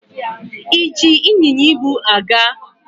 E ji ịnyịnya ibu a gaa?